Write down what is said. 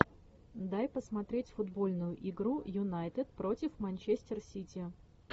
дай посмотреть футбольную игру юнайтед против манчестер сити